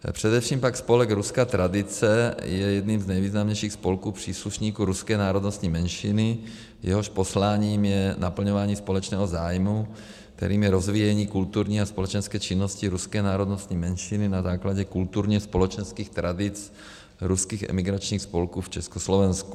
Především pak spolek Ruská tradice je jedním z nejvýznamnějších spolků příslušníků ruské národnostní menšiny, jehož posláním je naplňování společného zájmu, kterým je rozvíjení kulturní a společenské činnosti ruské národnostní menšiny na základě kulturně-společenských tradic ruských emigračních spolků v Československu.